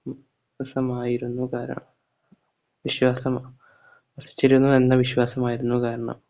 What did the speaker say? സമായിരുന്നു കാരണം വിശ്വാസം വസിച്ചിരുന്നുവെന്ന വിശ്വാസമായിരുന്നു കാരണം